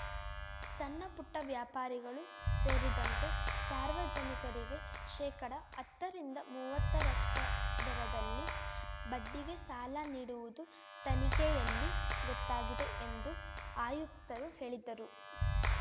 ಸಣ್ಣಪುಟ್ಟವ್ಯಾಪಾರಿಗಳು ಸೇರಿದಂತೆ ಸಾರ್ವಜನಿಕರಿಗೆ ಶೇಕಡಹತ್ತರಿಂದ ಮುವತ್ತರಷ್ಟದರದಲ್ಲಿ ಬಡ್ಡಿಗೆ ಸಾಲ ನೀಡುವುದು ತನಿಖೆಯಲ್ಲಿ ಗೊತ್ತಾಗಿದೆ ಎಂದು ಆಯುಕ್ತರು ಹೇಳಿದ್ದರು